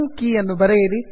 ನಿಮ್ಮ ಸಿಂಕ್ ಕೆ ಯನ್ನು ಬರೆಯಿರಿ